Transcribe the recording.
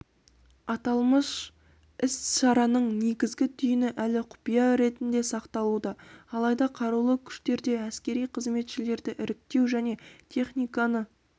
аталмыш іс-шараның негізгі түйіні әлі құпия ретінде сақталуда алайда қарулы күштерде әскери қызметшілерді іріктеу және техниканы